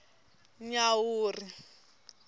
nyawuri